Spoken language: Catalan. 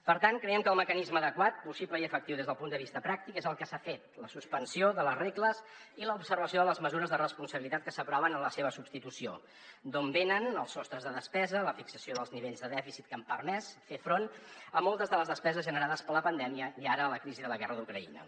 per tant creiem que el mecanisme adequat possible i efectiu des del punt de vista pràctic és el que s’ha fet la suspensió de les regles i l’observació de les mesures de responsabilitat que s’aproven en la seva substitució d’on venen els sostres de despesa i la fixació dels nivells de dèficit que han permès fer front a moltes de les despeses generades per la pandèmia i ara la crisi de la guerra d’ucraïna